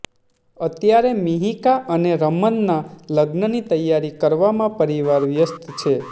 અત્યારે મિહિકા અને રમનનાં લગ્નની તૈયારી કરવામાં પરિવાર વ્યસ્ત છે